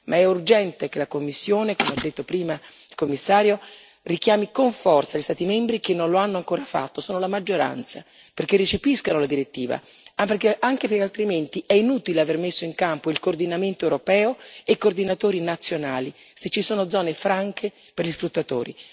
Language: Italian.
Ma è urgente che la Commissione, come ha detto prima il commissario, richiami con forza gli Stati membri che non lo hanno ancora fatto e sono la maggioranza perché recepiscano la direttiva, anche perché altrimenti è inutile aver messo in campo il coordinamento europeo e i coordinatori nazionali, se ci sono zone franche per gli sfruttatori.